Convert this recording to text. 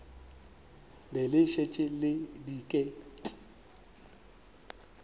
be le šetše le diket